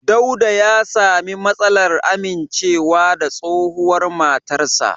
Dauda ya sami matsalar amincewa da tsohuwar matarsa.